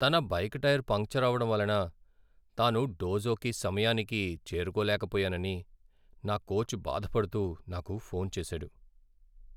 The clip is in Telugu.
తన బైక్ టైర్ పంక్చర్ అవడం వలన తాను డోజోకి సమయానికి చేరుకోలేకపోయానని నా కోచ్ బాధపడుతూ నాకు ఫోన్ చేసాడు.